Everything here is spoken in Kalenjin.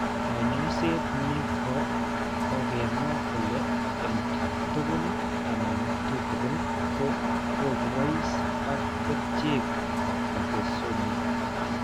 Kaany'ayseet nko kokemwa kole eng' tugul anan tutugin ko kobois ak kerchek bortezomib.